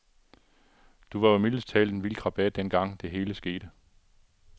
Du var jo mildest talt en vild krabat dengang, det hele skete.